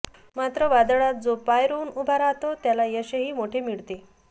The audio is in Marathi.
मात्र वादळात जो पाय रोवून उभा राहतो त्याला यशही मोठे मिळते